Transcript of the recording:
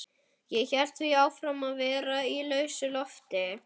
Ég hélt því áfram að vera í lausu lofti.